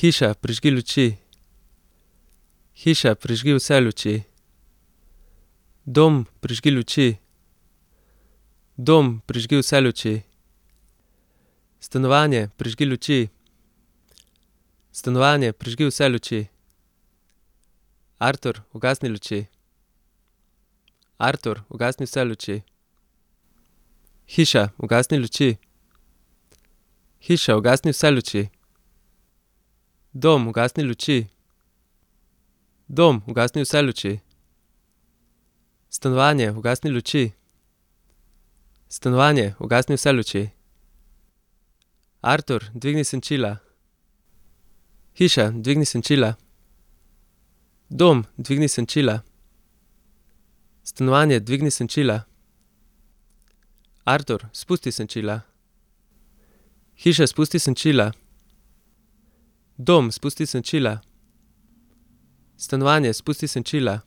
Hiša, prižgi luči. Hiša, prižgi vse luči. Dom, prižgi luči. Dom, prižgi vse luči. Stanovanje, prižgi luči. Stanovanje, prižgi vse luči. Artur, ugasni luči. Artur, ugasni vse luči. Hiša, ugasni luči. Hiša, ugasni vse luči. Dom, ugasni luči. Dom, ugasni vse luči. Stanovanje, ugasni luči. Stanovanje, ugasni vse luči. Artur, dvigni senčila. Hiša, dvigni senčila. Dom, dvigni senčila. Stanovanje, dvigni senčila. Artur, spusti senčila. Hiša, spusti senčila. Dom, spusti senčila. Stanovanje, spusti senčila.